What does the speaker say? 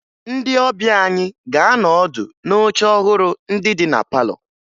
Ndị ọbịa anyị ga-anọ ọdụ n'oche ọhụrụ ndị dị na palọ